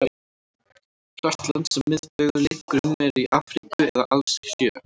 Flest lönd sem miðbaugur liggur um eru í Afríku eða alls sjö.